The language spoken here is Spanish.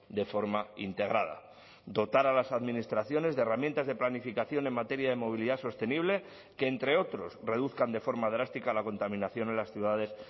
de forma integrada dotar a las administraciones de herramientas de planificación en materia de movilidad sostenible que entre otros reduzcan de forma drástica la contaminación en las ciudades